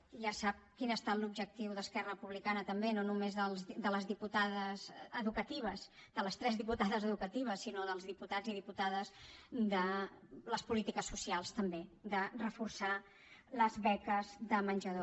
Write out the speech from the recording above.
ja sap quin ha estat l’objectiu d’esquerra republicana també no només de les diputades educatives de les tres diputades educatives sinó dels diputats i diputades de les polítiques socials també de reforçar les beques de menjador